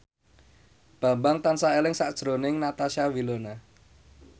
Bambang tansah eling sakjroning Natasha Wilona